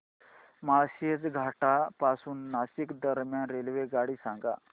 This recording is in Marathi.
माळशेज घाटा पासून नाशिक दरम्यान रेल्वेगाडी सांगा